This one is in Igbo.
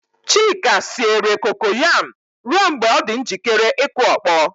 Chika siere kokoyam ruo mgbe ọ dị njikere ịkụ ọkpọ.